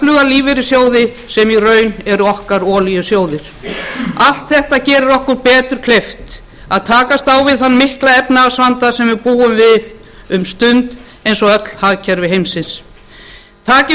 lífeyrissjóði sem í raun eru okkar olíusjóðir allt þetta gerir okkur betur kleift að takast á við þann mikla efnahagsvanda sem við búum við um stund eins og öll hagkerfi heimsins takist